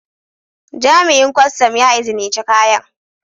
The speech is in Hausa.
Jami'in Kwastam ya izinice kayan.